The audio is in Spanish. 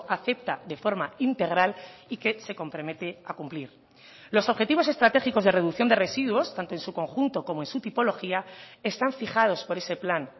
acepta de forma integral y que se compromete a cumplir los objetivos estratégicos de reducción de residuos tanto en su conjunto como en su tipología están fijados por ese plan